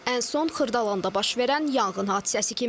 Ən son Xırdalanda baş verən yanğın hadisəsi kimi.